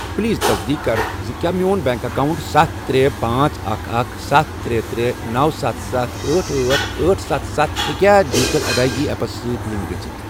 Please تصدیق کَر زِ کیٛاہ میون بینک اکاونٹ ستھَ، ترے، پانژھ، اکھَ، اکھَ، ستھَ، ترے، ترے، نوَ، ستَھ، ستھَ، أٹھ، أٹھ، أٹھ، ستھَ، ستھَ، ہٮ۪کیا ڈیجیٹل ادائیگی ایپ پے زیپس سۭتۍ لنک گٔژھِتھ ۔